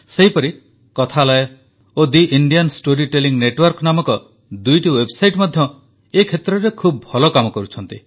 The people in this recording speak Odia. ସେହିପରି କଥାଳୟ ଓ the Indian story telling network ନାମକ ଦୁଇଟି ୱେବସାଇଟ୍ ମଧ୍ୟ ଏହି କ୍ଷେତ୍ରରେ ଖୁବ ଭଲ କାମ କରୁଛନ୍ତି